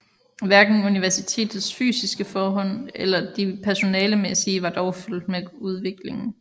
Hverken universitetets fysiske forhold eller de personalemæssige var dog fulgt med udviklingen